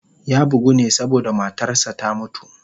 Ya bugu ne saboda matarsa ​​ta mutu.